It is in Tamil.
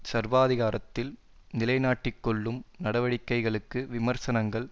சர்வாதிகாரத்தில் நிலைநாட்டிக்கொள்ளும் நடவடிக்கைகளுக்கு விமர்சனங்கள்